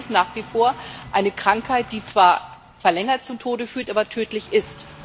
Dabei ist es nach wie vor eine Krankheit, die zwar verzögert zum Tode führt, die aber tödlich ist.